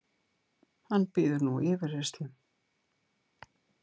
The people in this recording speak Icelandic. Hann bíður nú yfirheyrslu